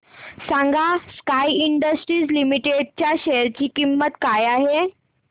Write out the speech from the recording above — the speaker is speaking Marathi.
सांगा स्काय इंडस्ट्रीज लिमिटेड च्या शेअर ची किंमत काय आहे